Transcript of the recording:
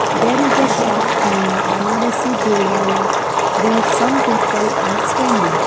there is a shop name banarasi bhel wala where some people are standing.